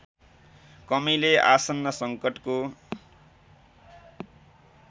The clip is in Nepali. कमीले आसन्न सङ्कटको